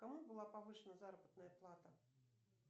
кому была повышена заработная плата